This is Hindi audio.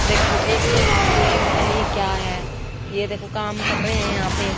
देखो एक के हाथ में पता नहीं क्या है ये देखो काम कर रहे हैं यहां पे--